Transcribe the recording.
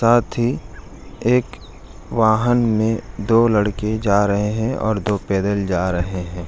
साथ ही एक वाहन में दो लड़के जा रहे है और दो पैदल जा रहे है ।